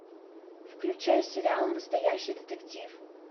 включай сериал настоящий детектив